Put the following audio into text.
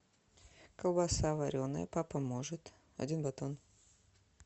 колбаса вареная папа может один батон